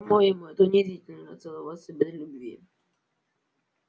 по-моему это унизительно целоваться без любви